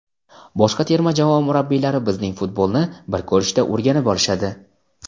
boshqa terma jamoa murabbiylari bizning futbolni bir ko‘rishda o‘rganib olishadi.